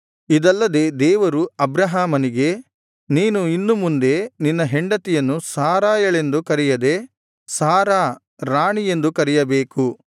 ಇದಲ್ಲದೆ ದೇವರು ಅಬ್ರಹಾಮನಿಗೆ ನೀನು ಇನ್ನು ಮುಂದೆ ನಿನ್ನ ಹೆಂಡತಿಯನ್ನು ಸಾರಯಳೆಂದು ಕರೆಯದೆ ಸಾರಾ ರಾಣಿ ಎಂದು ಕರೆಯಬೇಕು